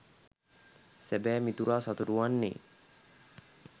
සැබෑ මිතුරා සතුටු වන්නේ